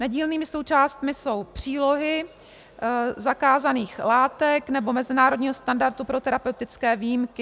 Nedílnými součástmi jsou přílohy zakázaných látek nebo mezinárodního standardu pro terapeutické výjimky.